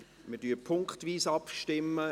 Wir stimmen punktweise ab.